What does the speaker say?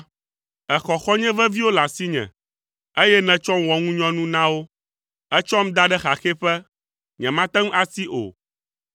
Èxɔ xɔ̃nye veviwo le asinye, eye nètsɔm wɔ ŋunyɔnu na wo. Ètsɔm da ɖe xaxɛƒe, nyemate ŋu asi o,